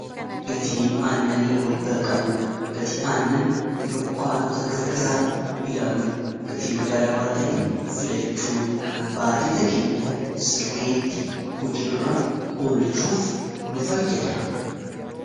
gatii annani wal bara qabu gatii aannan dukkaanota garagaraa ilaaluun gatii madaalawaa ta'e filachuun baajeta keenya sirriitti hujirra olchuuf nu fayyada